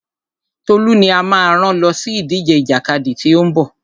Tolú ni a máa rán lọ sí ìdíje ìjàkadì tí ó ń bọ̀.